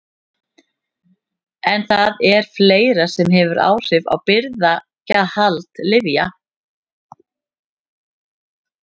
En það er fleira sem hefur áhrif á birgðahald lyfja.